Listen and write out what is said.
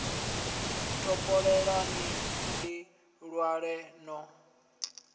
topoleni ni ḽi ṅwale no